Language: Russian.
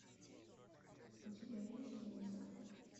у тебя есть муза